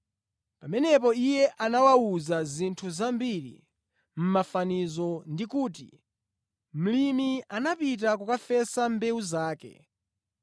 Pamenepo Iye anawawuza zinthu zambiri mʼmafanizo ndi kuti, “Mlimi anapita kukafesa mbewu zake.